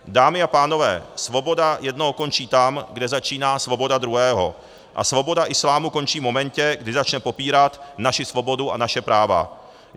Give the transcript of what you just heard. Dámy a pánové, svoboda jednoho končí tam, kde začíná svoboda druhého, a svoboda islámu končí v momentě, kdy začne popírat naši svobodu a naše práva.